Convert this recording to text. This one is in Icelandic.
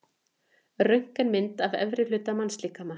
Röntgenmynd af efri hluta mannslíkama.